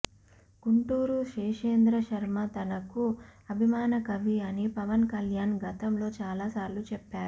గుంటూరు శేషేంద్ర శర్మ తనకు అభిమాన కవి అని పవన్ కల్యాణ్ గతంలో చాలా సార్లు చెప్పారు